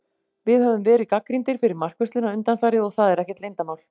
Við höfum verið gagnrýndir fyrir markvörsluna undanfarið, og það er ekkert leyndarmál.